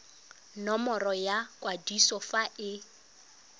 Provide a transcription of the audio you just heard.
nomoro ya kwadiso fa e